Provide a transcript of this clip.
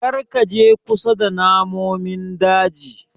Karka je kusa da namomin daji.